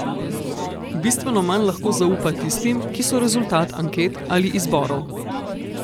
Bistveno manj lahko zaupa tistim, ki so rezultat anket ali izborov.